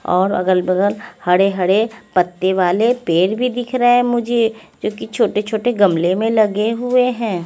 और अगल बगल हडे हडे पत्ते वाले पेड़ भी दिख रहे हैं मुझे जोकि छोटे छोटे गमले में लगे हुए हैं।